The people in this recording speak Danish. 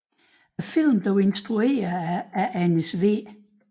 Filmen er instrueret af Anders W